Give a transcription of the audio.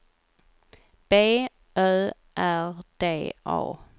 B Ö R D A